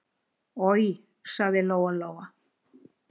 Oj, sagði Lóa-Lóa.